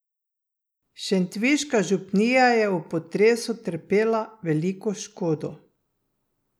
Šentviška župnija je ob potresu trpela veliko škodo.